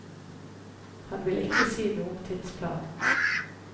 Han vil ikke si noe om tidsplanen.